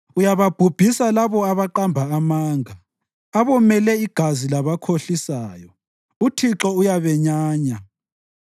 Uyababhubhisa labo abaqamba amanga; abomele igazi labakhohlisayo uThixo uyabenyanya.